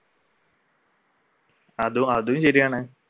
അത്അതും ശരിയാണ്